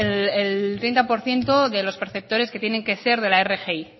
el treinta por ciento de los perceptores que tienen que ser de la rgi